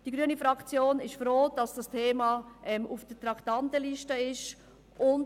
ie grüne Fraktion ist froh, dass dieses Thema auf der Traktandenliste steht.